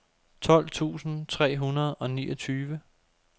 tolv tusind tre hundrede og niogtyve